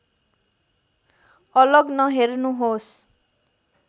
अलग नहेर्नुहोस्